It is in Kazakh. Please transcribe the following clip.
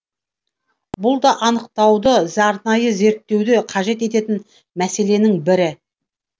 бұл да анықтауды арнайы зерттеуді қажет ететін мәселенің бірі